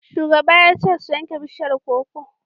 Shugaba ya ce su yanke bishiyar koko!